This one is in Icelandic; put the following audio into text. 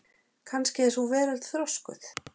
Kannski er sú veröld þroskuð.